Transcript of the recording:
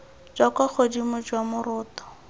jwa kwa godimo jwa moroto